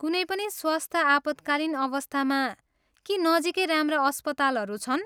कुनै पनि स्वस्थ्य आपतकालीन अवस्थामा, के नजिकै राम्रा अस्पतालहरू छन्?